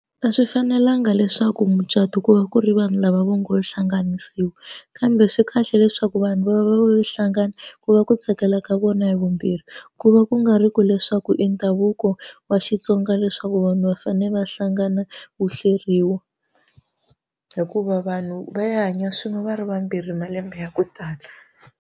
A swi fanelanga leswaku mucato ku va ku ri vanhu lava vo ngo hlanganisiwa kambe swi kahle leswaku vanhu va va va hlangana ku va ku tsakela ka vona hi vumbirhi ku va ku nga ri ku leswi swa ku i ndhavuko wa Xitsonga leswaku vanhu va fane va hlangana wu hleriwa hikuva vanhu va ya hanya swin'we va ri vambirhi malembe ya ku tala.